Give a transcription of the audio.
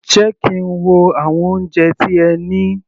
Jẹ́ kí n wo àwọn oúnjẹ tí ẹ ní.